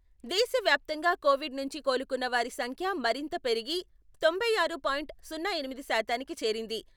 దేశవ్యాప్తంగా కోవిడ్ నుంచి కోలుకున్న వారి సంఖ్య మరింత పెరిగి తొంభై ఆరు పాయింట్ సున్నా ఎనిమిది శాతానికి చేరింది.